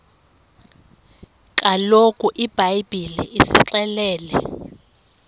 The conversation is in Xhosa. kaloku ibhayibhile isixelela